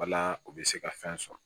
Wala u bɛ se ka fɛn sɔrɔ